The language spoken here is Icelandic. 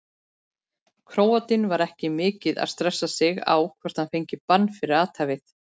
Króatinn var ekki mikið að stressa sig á hvort hann fengi bann fyrir athæfið.